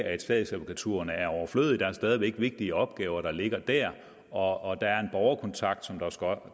at statsadvokaturerne er overflødige der er stadig væk vigtige opgaver der ligger der og der er en borgerkontakt